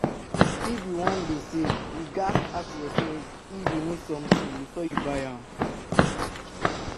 If you wan dey save, you ghas ask yourself if you need something before you buy am